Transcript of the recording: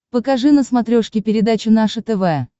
покажи на смотрешке передачу наше тв